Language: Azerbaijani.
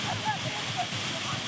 alçaqdır.